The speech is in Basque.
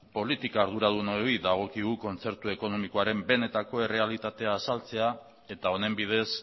politika arduradunoi dagokigu kontzertu ekonomikoaren benetako errealitatea azaltzea eta honen bidez